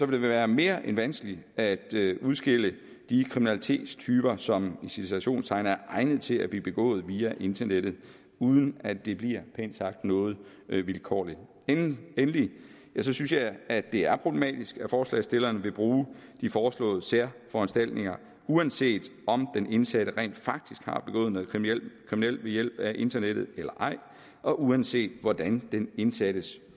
det være mere end vanskeligt at udskille de kriminalitetstyper som i citationstegn er egnede til at blive begået via internettet uden at det bliver pænt sagt noget vilkårligt endelig synes jeg at det er problematisk at forslagsstillerne vil bruge de foreslåede særforanstaltninger uanset om den indsatte rent faktisk har begået noget kriminelt ved hjælp af internettet eller ej og uanset hvordan den indsattes